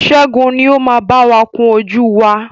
Ṣẹ́gun ni o ma báwa kún ojú wá.